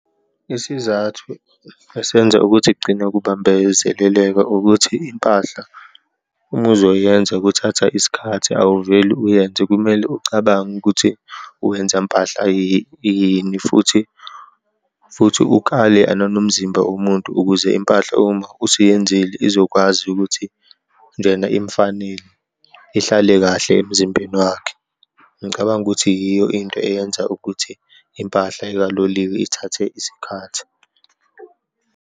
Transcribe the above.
Isizathu esenza ukuthi kugcine kubambezeleleka ukuthi impahla, uma uzoyenza kuthatha isikhathi, awuveli uyenze, kumele ucabange ukuthi wenza mpahla yini futhi, futhi ukale nanomzimba womuntu ukuze impahla uma usuyenzile izokwazi ukuthi njena imfanele, ihlale kahle emzimbeni wakhe. Ngicabanga ukuthi yiyo into eyenza ukuthi impahla ekaloliwe ithathe isikhathi.